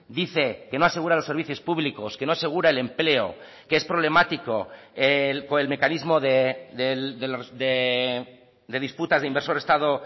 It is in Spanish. dice que no asegura los servicios públicos que no asegura el empleo que es problemático con el mecanismo de disputas de inversor estado